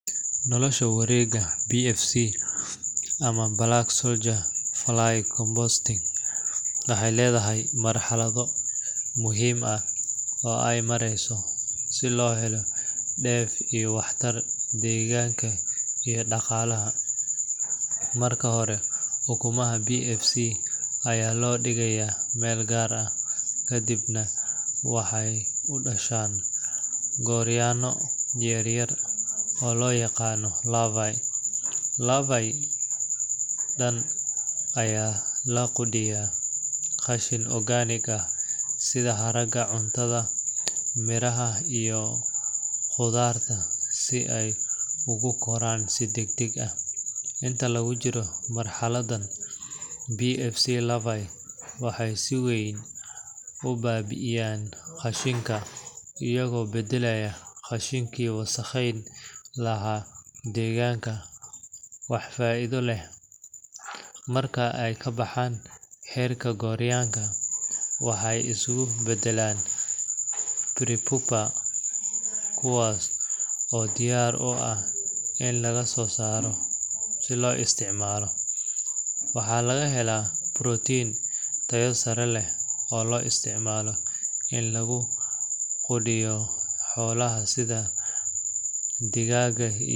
Nolosha wareegga BFC ama Black Soldier Fly Composting waxay leedahay marxalado muhiim ah oo ay mareyso si loo helo dheef iyo waxtar deegaanka iyo dhaqaalaha. Marka hore, ukumaha BFC ayaa la dhigayaa meel gaar ah, kadibna waxay u dhashaan gooryaanno yar yar oo loo yaqaan larvae. Larvae-dan ayaa la quudiyaa qashin organic ah sida haraaga cuntada, miraha iyo khudaarta si ay ugu koraan si degdeg ah. Inta lagu jiro marxaladan, BFC larvae waxay si weyn u baabi’iyaan qashinka, iyagoo beddelaya qashinkii wasakheyn lahaa deegaanka wax faa’iido leh. Marka ay ka baxaan heerka gooryaanka, waxay isu beddelaan prepupae kuwaas oo diyaar u ah in laga soo saaro si loo isticmaalo. Waxaa laga helaa protein tayo sare leh oo loo isticmaalo in lagu quudiyo xoolaha sida digaagga .